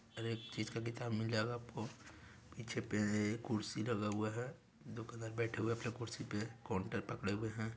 हर एक चीज का किताब मिल जाएगा आपको पीछे पे कुर्सी लगा हुआ हैं दुकानदार बेठा हुआ हैं अपना कुर्सी पे कोन्टर पकडे हुए हैं।